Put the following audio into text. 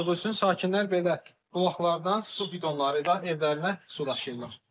Su olmadığı üçün sakinlər belə bulaqlardan su bidonları ilə evlərinə su daşıyırlar.